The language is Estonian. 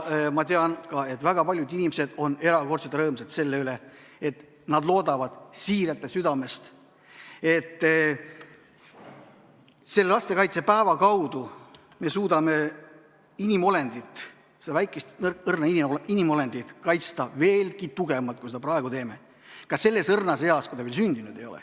Ma tean, et väga paljud inimesed on erakordselt rõõmsad selle üle, nad loodavad siiralt ja südamest, et lastekaitsepäeva kaudu me suudame inimolendit, seda väikest ja õrna inimolendit kaitsta veelgi tugevamalt, kui me seda praegu teeme, kusjuures ka selles õrnas eas, kui ta veel sündinud ei ole.